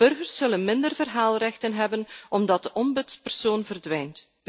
Burgers zullen minder verhaalrechten hebben omdat de ombudspersoon verdwijnt.